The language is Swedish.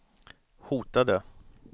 hotade